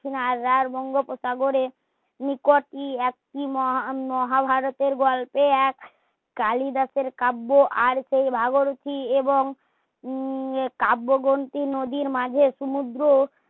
রার বঙ্গোপসাগর নিকটি একটি মহা মহাভারতে গল্পে এক কালিদাসের কাব্য আর সেই ভাগীরতি এবং উম কাব্যগ্রন্থি নদীর মাঝে সমুদ্র